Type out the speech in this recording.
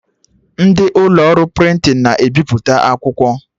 Ndị ụlọ ọrụ prịntịn na-ebiputa akwụkwọ